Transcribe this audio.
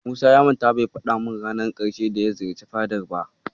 Musa ya manta bai faɗa min ranar ƙarshe da ya ziyarci fadar ba.